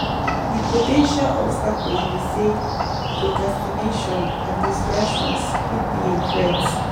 di po ten tial obstacles be say procastination and distractions fit be a threat.